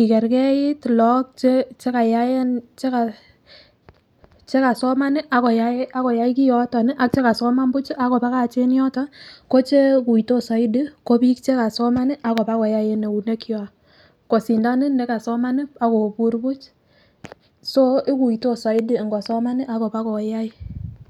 ikerkeit lagok tugul chekasoman akoyai kioton ak chekasoman buch akobakach en yoton ko chekuitos soiti ko biik chekasoman akobakoyae en eunek kwak kosindan nekasoman akobur buch ,so ikuitos soiti ngosoman akobakoyai.